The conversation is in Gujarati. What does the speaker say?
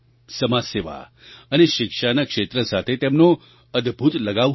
સમાજસેવા અને શિક્ષાના ક્ષેત્ર સાથે તેમનો અદ્ભુત લગાવ હતો